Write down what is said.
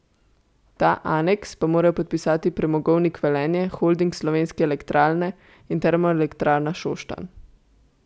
Ta aneks pa morajo podpisati Premogovnik Velenje, Holding Slovenske elektrarne in Termoelektrarna Šoštanj.